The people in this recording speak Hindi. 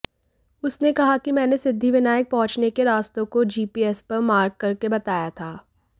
उसने कहा कि मैंने सिद्धिविनायक पहुंचने के रास्तों को जीपीएस पर मार्क करके बताया था